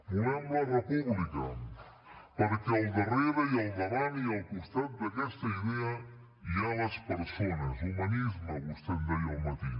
volem la república perquè al darrera i al davant i al costat d’aquesta idea hi ha les persones humanisme vostè en deia al matí